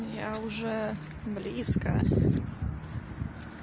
я уже близко